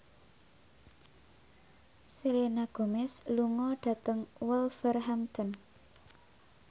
Selena Gomez lunga dhateng Wolverhampton